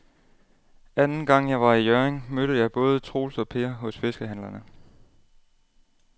Anden gang jeg var i Hjørring, mødte jeg både Troels og Per hos fiskehandlerne.